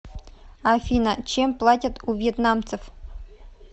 афина чем платят у вьетнамцев